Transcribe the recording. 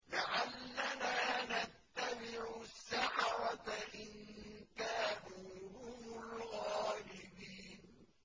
لَعَلَّنَا نَتَّبِعُ السَّحَرَةَ إِن كَانُوا هُمُ الْغَالِبِينَ